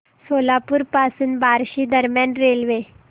सोलापूर पासून बार्शी दरम्यान रेल्वे